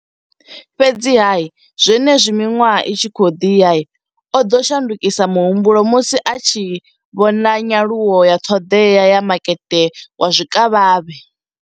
Fhedziha, zwenezwi miṅwaha i tshi khou ḓi ya, o ḓo shandukisa muhumbulo musi a tshi vhona nyaluwo ya ṱhoḓea ya makete wa zwikavhavhe.